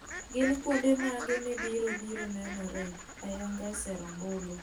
Gin kuonde mage mibiro biro nenore ayanga e sero ombulo